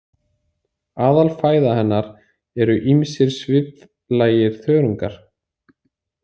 Aðalfæða hennar eru ýmsir sviflægir þörungar.